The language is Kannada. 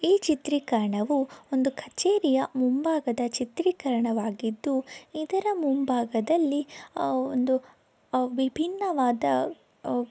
ಈ ಚಿತ್ರೀಕರಣವು ಒಂದು ಕಛೇರಿಯ ಮುಂಭಾಗದ ಚಿತ್ರೀಕರಣವಾಗಿದ್ದು ಇದರ ಮುಂಭಾಗದಲ್ಲಿ ಅಹ್ ಒಂದು ಅಹ್ ವಿಬ್ಬಿನ್ನವಾದ ಅಹ್--